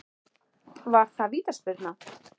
Var það vítaspyrna?